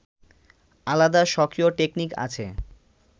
আলাদা স্বকীয় টেকনিক আছে